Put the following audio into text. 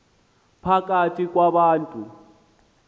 phakathi kwa bantu